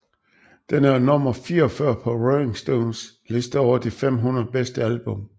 Den er nummer 44 på Rolling Stones liste over de 500 bedste album